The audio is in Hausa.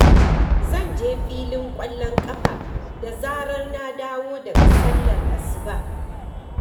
Zan je filin ƙwallon ƙafa da zarar na dawo daga sallar asuba.